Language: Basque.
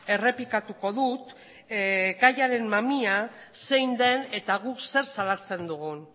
errepikatuko dut gaiaren mamia zein den eta guk zer salatzen dugun